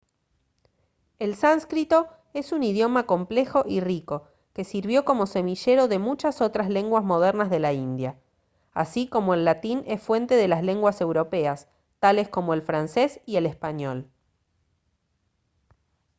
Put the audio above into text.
el sánscrito es un idioma complejo y rico que sirvió como semillero de muchas otras lenguas modernas de la india así como el latín es fuente de las lenguas europeas tales como el francés y el español